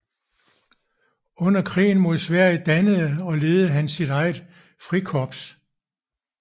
Under krigen mod Sverige dannede og ledede han et eget frikorps